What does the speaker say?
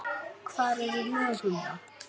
Hvar eru lög um það?